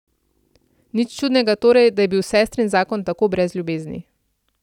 Nič čudnega torej, da je bil sestrin zakon tako brez ljubezni.